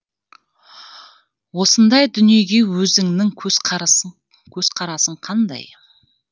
осындай дүниеге өзіңнің көзқарасың қандай